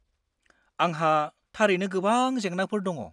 आंहा थारैनो गोबां जेंनाफोर दङ।